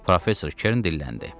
Professor Kern dilləndi.